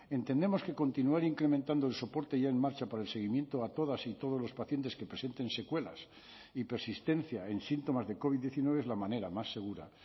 entendemos que continuar incrementando el soporte ya en marcha para el seguimiento a todas y todos los pacientes que presenten secuelas y persistencia en síntomas de covid diecinueve es la manera más segura